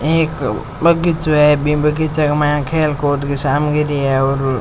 एक बगीचों है बीम बगीचे के माय खेल कूद की सामग्री है और --